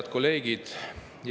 Head kolleegid!